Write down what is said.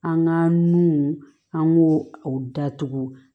An ka nun an b'o o datugu